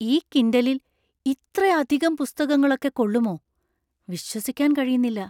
ഈ കിൻഡലിൽ ഇത്രയധികം പുസ്തകങ്ങളൊക്കെ കൊള്ളുമോ? വിശ്വസിക്കാൻ കഴിയുന്നില്ല!